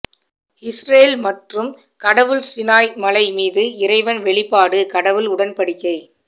Israel மற்றும் கடவுள் Sinai மலை மீது இறைவன் வெளிப்பாடு கடவுள் உடன்படிக்கை